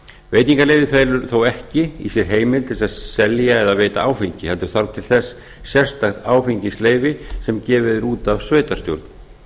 veitingaleyfið felur þó ekki í sér heimild til að selja eða veita áfengi heldur þarf til þess sérstakt áfengisleyfa sem gefið er út af sveitarstjórn